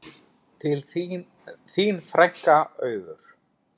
Þín frænka, Auður.